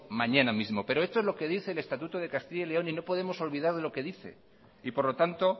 mañana mismo pero esto es lo que dice el estatuto de castilla y león y no podemos olvidar lo que dice y por lo tanto